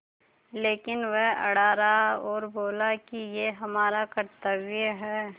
लेकिन वह अड़ा रहा और बोला कि यह हमारा कर्त्तव्य है